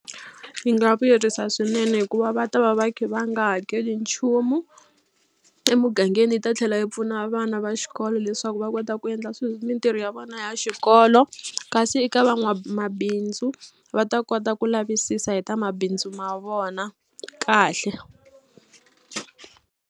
Yi nga vuyerisa swinene hikuva va ta va va khe va nga hakeli nchumu emugangeni yi ta tlhela yi pfuna vana va xikolo leswaku va kota ku endla mitirho ya vona ya xikolo kasi eka van'wamabindzu va ta kota ku lavisisa hi ta mabindzu ma vona kahle.